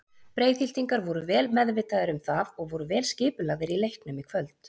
Breiðhyltingar voru vel meðvitaðir um það og voru vel skipulagðir í leiknum í kvöld.